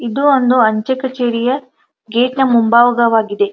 ಇದು ಒಂದು ಅಂಚೆ ಕಚೇರಿಯ ಗೇಟ್ ನ ಮುಂಬಾಗವಾಗಿದೆ.